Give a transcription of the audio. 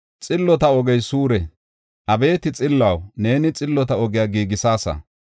Xillota ogey suure; Abeeti Xilluwaw, neeni xillota ogiya giigisaasa.